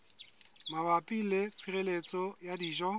mabapi le tshireletso ya dijo